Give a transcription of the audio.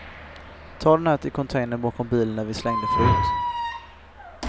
Ta den här till containern bakom bilen där vi slängde förut.